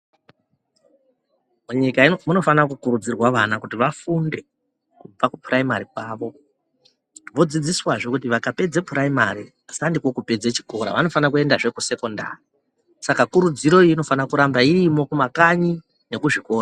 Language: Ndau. Munyika ino munofana kukurudzirwa vana kuti vafunde kubva kupuraimari kwavo vodzidziswazve kuti vakapedze puraimari sandiko kupedze chikora vanofana kuendazve kusekondari. Saka kurudziro iyi inofanira kuramba irimo kumakanyi nemuzvikora.